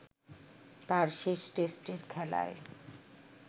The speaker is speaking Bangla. তাঁর শেষ টেস্টের খেলায়